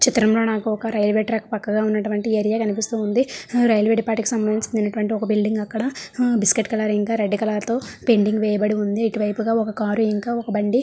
చిత్రంలో నాకు railway track పక్కగా ఉన్నటువంటి ఏరియా కనిపిస్తుంది. ఆ రైల్వే డిపార్ట్మెంట్ కి సంబంధించిన అటువంటి ఒక బిల్డింగ్ అక్కడ ఆ biscuit colour and red colour తో పెయింటింగ్ వేయబడి ఉంది. ఈ వైపుగా ఒక ఒక కారు ఇంకా ఒక బండి.